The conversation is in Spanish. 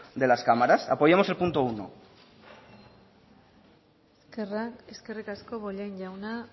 de las cámaras apoyemos el punto uno eskerrik asko bollain jauna